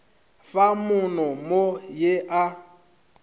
fa mono mo ye a